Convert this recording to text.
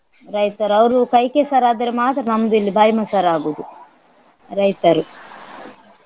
ರೈತರು ಅವರು ಕೈ ಕೆಸರಾದರೆ ಮಾತ್ರ ನಮ್ದಿಲ್ಲಿ ಬಾಯಿ ಮೊಸರಾಗುವುದು ರೈತರು